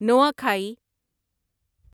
Nuakhai